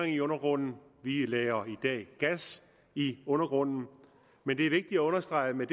i undergrunden vi lagrer i dag gas i undergrunden men det er vigtigt at understrege at vi